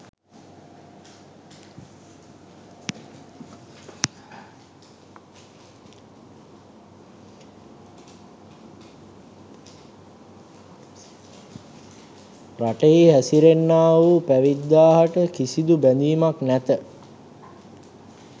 රටෙහි හැසිරෙන්නාවූ පැවිද්දාහට කිසිදු බැඳීමක් නැත.